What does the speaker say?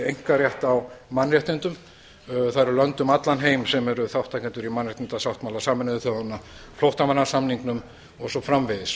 einkarétt á mannréttindum það eru lönd um allan heim sem eru þátttakendur í mannréttindasáttmála sameinuðu þjóðanna flóttamannasamningnum og svo framvegis